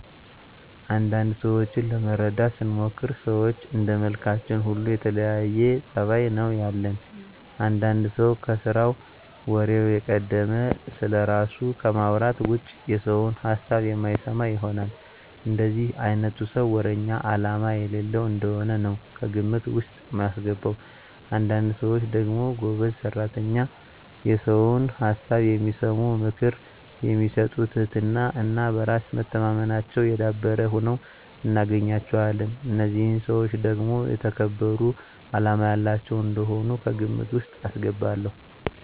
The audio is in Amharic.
አንዳንድ ሰዎችን ለመረዳት ስሞክር ሰዎች እንደመልካችን ሁሉ የተለያየ ፀባይ ነው ያለን። አንዳንድ ሰው ከስራው ወሬው የቀደመ፣ ስለራሱ ከማውራት ውጭ የሰውን ሀሳብ የማይሰማ ይሆናል። እንደዚህ አይነቱን ሰው ወረኛ አላማ የሌለው እንደሆነ ነው ከግምት ውስጥ ማስገባው። አንዳንድ ሰዎች ደግሞ ጎበዝ ሰራተኛ፣ የሰውን ሀሳብ የሚሰሙ፣ ምክር የሚሰጡ ትህትና እና በራስ መተማመናቸው የዳበረ ሁነው እናገኛቸዋለን። እነዚህን ሰዎች ደግሞ የተከበሩ አላማ ያላቸው እንደሆኑ ከግምት ውስጥ አስገባለሁ።